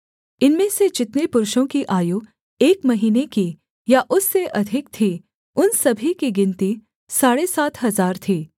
इनमें से जितने पुरुषों की आयु एक महीने की या उससे अधिक थी उन सभी की गिनती साढ़े सात हजार थी